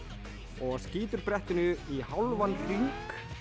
og skýtur brettinu í hálfan hring